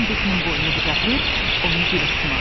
Tom Bekkinin boynunu qucaqlayıb onu dilə tutmağa başladı.